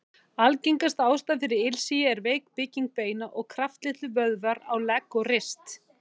Algengasta ástæðan fyrir ilsigi er veik bygging beina og kraftlitlir vöðvar á legg og rist.